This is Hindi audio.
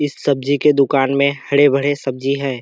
इस सब्जी के दुकान में हरे-भरे सब्जी हैं।